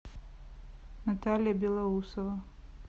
наталья белоусова